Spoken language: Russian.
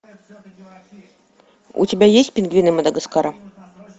у тебя есть пингвины мадагаскара